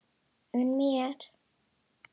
Unn mér!